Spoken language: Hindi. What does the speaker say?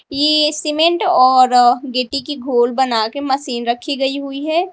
ये सीमेंट और गटी की गोल बना के मशीन रखी गई हुई है।